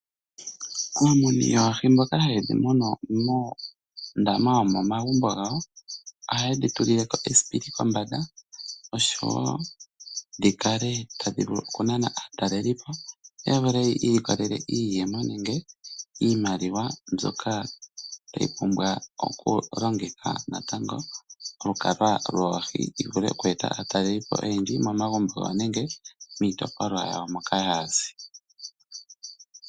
Aamuni yoohi mboka ha yedhi munu muundama womomagumbo gawo oha yedhi tulileko esipili kombanda opo dhikale tadhi vulu okunana aatalelipo yo yavule yi ikolele iiyemo nenge iimaliwa mbyoka tayi pumbwa okulongitha natango olukalwa woohi dhivule oku eta aatalelipo oyendji momagumbo gawo nenge miitopolwa yawo moka ha yazi.